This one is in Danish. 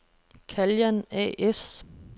Caljan A/S